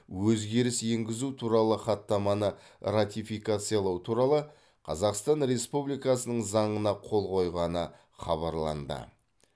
өзгеріс енгізу туралы хаттаманы ратификациялау туралы қазақстан республикасының заңына қол қойғаны хабарланды